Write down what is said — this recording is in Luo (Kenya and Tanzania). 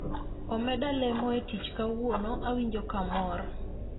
Omeda lemo e tich kawuono, awinjo ka amor